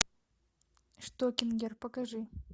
штокингер покажи